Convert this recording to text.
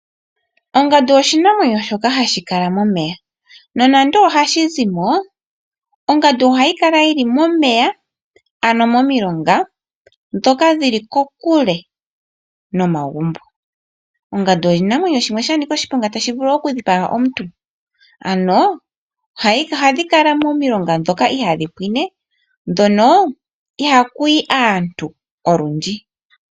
Ongandu oshinamwenyo shoka hashi kala momeya nonando ohashizimo, ongandu ohayi kala yili momeya ano momilonga dhoka dhili kokule nomagumbo. Ongandu oshinamwenyo shimwe shanika oshiponga tashi vulu okudhipaga omuntu, ano ohadhi kala momilonga dhoka ihadhi pwiine dhono ihakuyi aantu olundji.